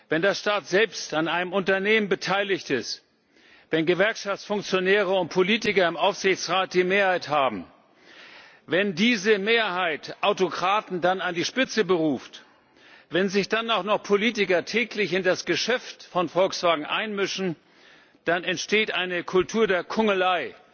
Wenn der Staat selbst an einem Unternehmen beteiligt ist, wenn Gewerkschaftsfunktionäre und Politiker im Aufsichtsrat die Mehrheit haben, wenn diese Mehrheit dann Autokraten an die Spitze beruft, wenn sich dann auch noch Politiker täglich in das Geschäft von Volkswagen einmischen, dann entsteht eine Kultur der Kungelei,